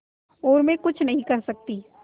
और मैं कुछ नहीं कर सकती